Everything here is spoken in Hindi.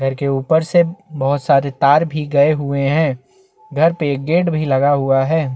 घर के ऊपर एक प्लस का साइन लगा हुआ है जो कि सफेद रंग का है।